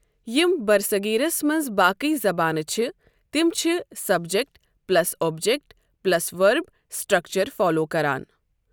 یِم برصغیٖرس منٛز باقٕے زبانہٕ چھِ تِم چھِ سبجیٚکٹ پلس اوٚبجیٚکٹ پلس ؤرٕب سٹرٛکچر فالو کران۔